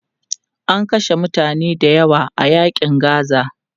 An kashe mutane dayawa a yaƙin Gaza.